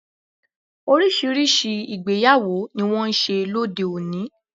Oríṣiríṣi ìgbéyàwó ni wón n ṣe lóde oni